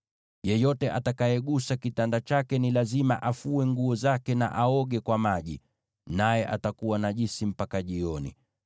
Yeyote atakayegusa kitanda chake ni lazima afue nguo zake na aoge kwa maji, naye atakuwa najisi mpaka jioni.